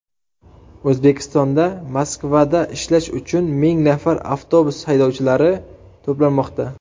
O‘zbekistonda Moskvada ishlash uchun ming nafar avtobus haydovchilari to‘planmoqda.